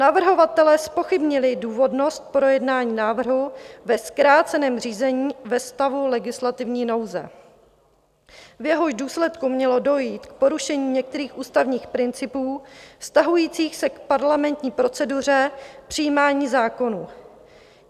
Navrhovatelé zpochybnili důvodnost projednání návrhu ve zkráceném řízení ve stavu legislativní nouze, v jehož důsledku mělo dojít k porušení některých ústavních principů vztahujících se k parlamentní proceduře přijímání zákonů.